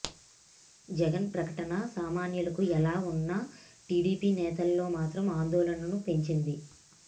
జగన్ ప్రకటన సామాన్యులకు ఎలా ఉన్నా టిడిపి నేతల్లో మాత్రం ఆందోళనను పెంచింది